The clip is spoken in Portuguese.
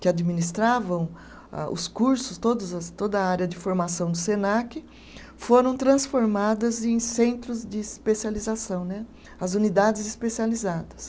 que administravam âh os cursos, todas a, toda a área de formação do Senac, foram transformadas em centros de especialização né, as unidades especializadas.